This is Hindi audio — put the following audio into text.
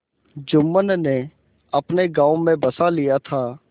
जुम्मन ने अपने गाँव में बसा लिया था